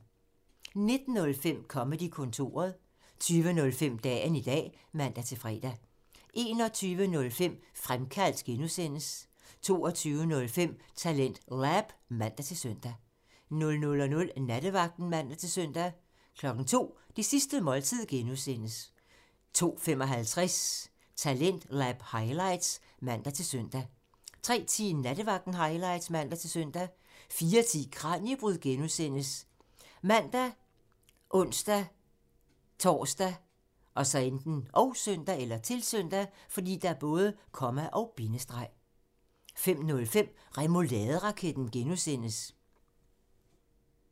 19:05: Comedy-kontoret (man) 20:05: Dagen i dag (man-fre) 21:05: Fremkaldt (G) (man) 22:05: TalentLab (man-søn) 00:00: Nattevagten (man-søn) 02:00: Det sidste måltid (G) (man) 02:55: Talentlab highlights (man-søn) 03:10: Nattevagten highlights (man-søn) 04:10: Kraniebrud (G) ( man, ons-tor, -søn) 05:05: Remouladeraketten (G) (man)